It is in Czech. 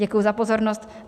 Děkuji za pozornost.